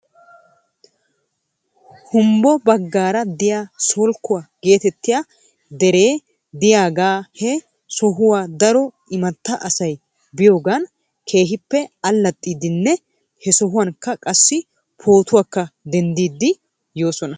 Humbbo bagaara de'iyaa solkkuwaa geetettiyaa deree diyaagaa he sohuwaa daro imatta asay biyoogan keehippe allaxxidinne he sohuwankka qassi pootuwaakka denddidi yoosona.